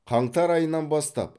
қаңтар айынан бастап